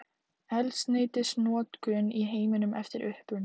Eldsneytisnotkun í heiminum eftir uppruna.